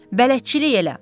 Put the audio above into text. Bələdçilik elə.